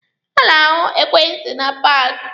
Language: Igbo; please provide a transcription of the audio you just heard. A na-ahụ ekwentị na paaki.